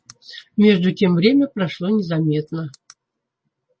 между тем время прошло незаметно